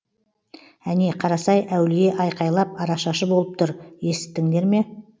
әне қарасай әулие айқайлап арашашы болып тұр есіттіңдер ме